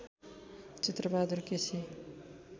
Chitra Bahadur KC